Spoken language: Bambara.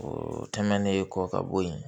O tɛmɛnen kɔ ka bɔ yen